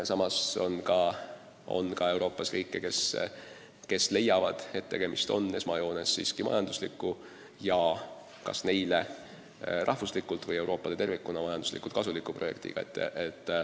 Samas on Euroopas ka maid, kes leiavad, et tegemist on esmajoones majandusliku ja kas neile endale või Euroopale tervikuna majanduslikult kasuliku projektiga.